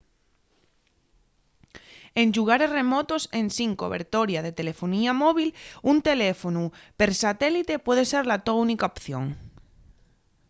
en llugares remotos ensin cobertoria de telelefonía móvil un teléfonu per satélite puede ser la to única opción